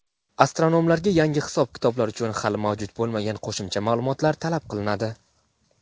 Astronomlarga yangi hisob-kitoblar uchun hali mavjud bo‘lmagan qo‘shimcha ma’lumotlar talab qilinadi.